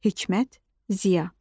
Hikmət Ziya.